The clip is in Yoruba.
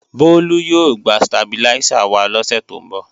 Bólú yóò gbé stabiláísà wá lọ́sè tó ń bọ̀